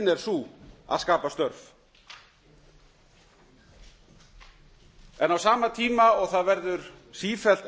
er sú að skapa störf á sama tíma og það verður sífellt